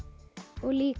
og líka